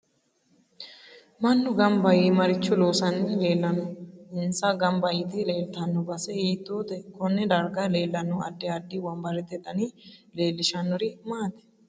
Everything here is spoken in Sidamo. Mannu ganba yee maricho loosani leelanno insa ganba yite leeltanno base hiitoote konne darga leelanno addi addi wonbarete dani leelishanori maati